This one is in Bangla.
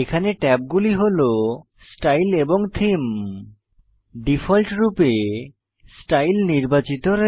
এখানে ট্যাবগুলি হল স্টাইল এবং থেমে ডিফল্টরূপে স্টাইল নির্বাচিত